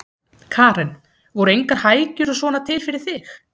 Karen: Voru engar hækjur og svona til fyrir þig?